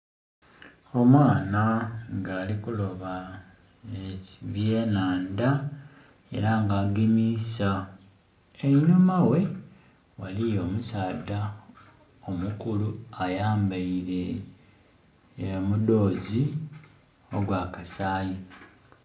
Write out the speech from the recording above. Omwana nga ali kuloba ebyenhandha era nga agemisa, enhuma ghe waliwo omusaadha omukulu ayambeire omudhozi ogwa kasayi